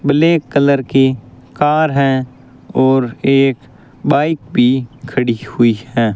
Black colour की car है और एक बाइक भी खड़ी हुई है।